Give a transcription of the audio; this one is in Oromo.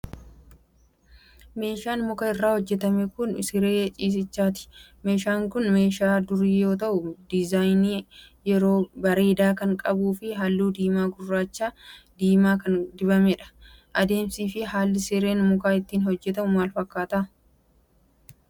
Meeshaan muka irraa hojjatame kun, siree ciisichaati. Meesaan kun, meeshaa durii yoo ta'u, dizaayinii bareedaa kan qabuu fi haalluu diimaa gurraacha diimaa kan dibamee dha. Adeemsi fi haalli sireen mukaa ittiin hojjatamu maal fakkaata?